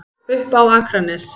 Upp á Akranes.